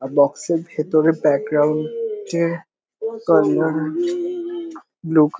আর box -এর ভেতরে background -এ ব্লু কা --